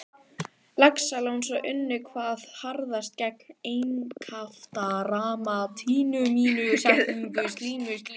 Laxalóns og unnu hvað harðast gegn einkaframtaki mínu.